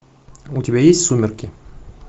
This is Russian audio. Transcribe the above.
у тебя есть сумерки